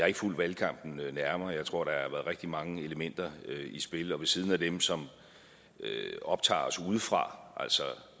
ikke fulgt valgkampen nærmere jeg tror været rigtig mange elementer i spil og ved siden af dem som optager os udefra